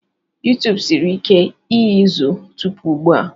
YuTubu siri ike iyuzu tupu ugbu a.